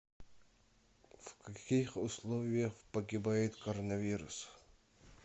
в каких условиях погибает коронавирус